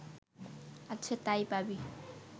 আচ্ছা তাই পাবি